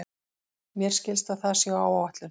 Mér skilst að það sé á áætlun.